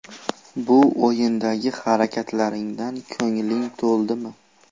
Bu o‘yindagi harakatlaringdan ko‘ngling to‘ldimi?